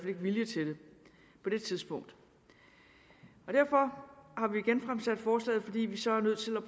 ikke vilje til det på det tidspunkt derfor har vi genfremsat forslaget fordi vi så er nødt til at